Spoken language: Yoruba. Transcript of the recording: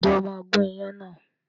Ǹjẹ́ o máa gun ìyàn náà?